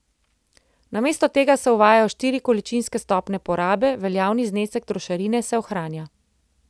Namesto tega se uvajajo štiri količinske stopnje porabe, veljavni znesek trošarine se ohranja.